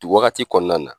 Wagati kɔnɔna na